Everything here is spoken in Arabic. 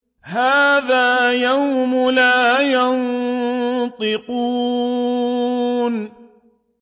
هَٰذَا يَوْمُ لَا يَنطِقُونَ